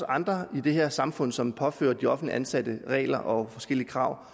andre i det her samfund som påfører de offentligt ansatte regler og forskellige krav